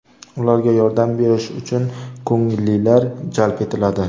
Ularga yordam berish uchun ko‘ngillilar jalb etiladi.